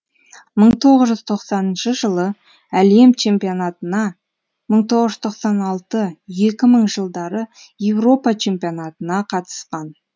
бір мың тоғыз жүз тоқсаныншы жылы әлем чемпионатына мың тоғыз жүз тоқсан алты екі мың жылдары еуропа чемпионатына қатысқан